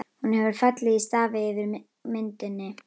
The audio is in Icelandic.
Hún hefur fallið í stafi yfir myndinni.